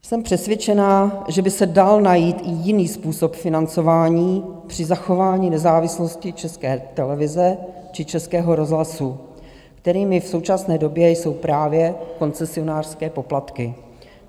Jsem přesvědčena, že by se dal najít i jiný způsob financování při zachování nezávislosti České televize či Českého rozhlasu, kterým v současné době jsou právě koncesionářské poplatky.